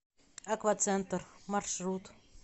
аквацентр маршрут